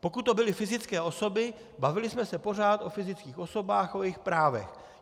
Pokud to byly fyzické osoby, bavili jsme se pořád o fyzických osobách, o jejich právech.